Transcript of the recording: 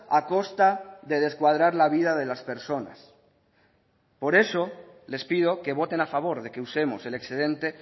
a costa de descuadrar la vida de las personas por eso les pido que voten a favor de que usemos el excedente